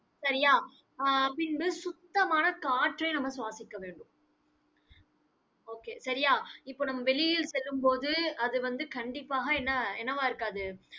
சரியா? ஆஹ் பின்பு சுத்தமான காற்றை நம்ம சுவாசிக்க வேண்டும். okay சரியா இப்ப நம்ம வெளியில் செல்லும்போது, அது வந்து கண்டிப்பாக என்ன என்னவா இருக்காது?